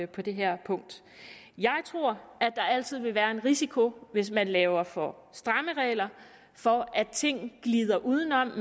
på det her punkt jeg tror at der altid vil være en risiko hvis man laver for stramme regler for at ting glider udenom at